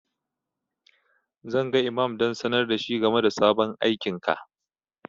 Zan ga imam don sanar da shi game da sabon aikinka.